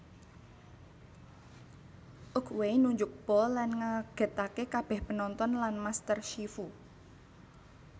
Oogway nunjuk Po lan ngagètaké kabèh penonton lan Master Shifu